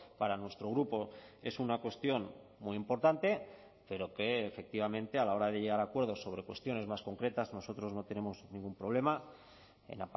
para nuestro grupo es una cuestión muy importante pero que efectivamente a la hora de llegar a acuerdos sobre cuestiones más concretas nosotros no tenemos ningún problema en